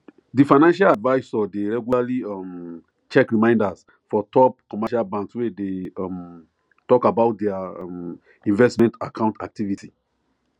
the financial advisor de regularly um check reminders for top commercial banks wey de um talk about their um investments account activity